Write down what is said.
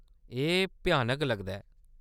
एह्‌‌ भ्यानक लगदा ऐ।